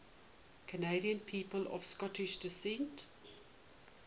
canadian people of scottish descent